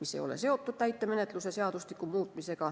mis ei ole seotud täitemenetluse seadustiku muutmisega.